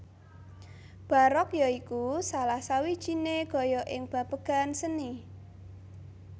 Barok ya iku salah sawijiné gaya ing babagan seni